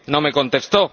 No me contestó.